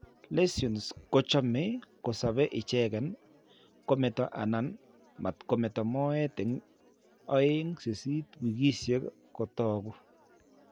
Lesions kochome kosobe icheken kometo anan matkometo moet eng' 2 8 wiikiisiek kotaku.